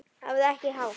Hafðu ekki hátt!